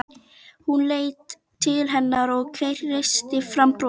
Hún leit til hennar og kreisti fram bros.